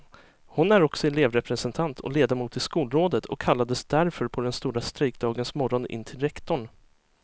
Hon är också elevrepresentant och ledamot i skolrådet och kallades därför på den stora strejkdagens morgon in till rektorn.